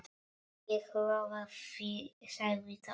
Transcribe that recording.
Ég lofa því sagði Thomas.